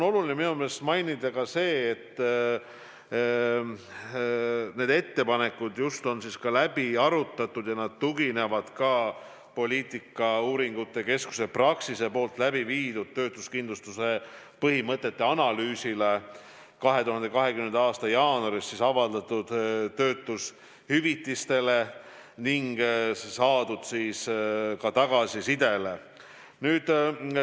Oluline on mainida ka seda, et need ettepanekud on läbi arutatud ja tuginevad ka poliitikauuringute keskuses Praxis läbi viidud töötuskindlustuse põhimõtete analüüsile, 2020. aasta jaanuaris avaldatud töötushüvitiste andmetele ning saadud tagasisidele.